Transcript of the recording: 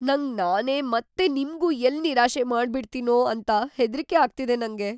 ನಂಗ್‌ ನಾನೇ ಮತ್ತೆ ನಿಮ್ಗೂ ಎಲ್ಲ್‌ ನಿರಾಶೆ ಮಾಡ್ಬಿಡ್ತೀನೋ ಅಂತ ಹೆದ್ರಿಕೆ ಆಗ್ತಿದೆ ನಂಗೆ.